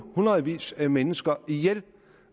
hundredvis af mennesker ihjel